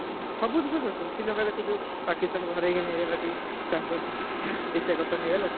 ସବୁ ଦେଶ ଖେଳୁଛନ୍ତି ଶ୍ରୀଲଙ୍କା ଦେଖୁଛୁ ପାକିସ୍ତାନକୁ ହରେଇକି ନେଇଗଲାଟି champion Asia Cup ଟା ନେଇଗଲା ଟି!